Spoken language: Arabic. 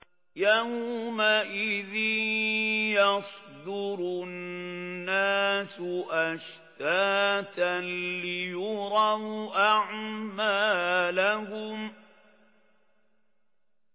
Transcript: يَوْمَئِذٍ يَصْدُرُ النَّاسُ أَشْتَاتًا لِّيُرَوْا أَعْمَالَهُمْ